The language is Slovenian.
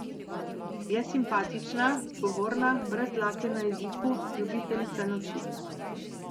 Je simpatična, zgovorna, brez dlake na jeziku, ljubiteljica noči.